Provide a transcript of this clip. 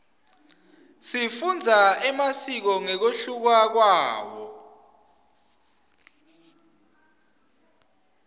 sifundza emasiko ngekunluka kwawo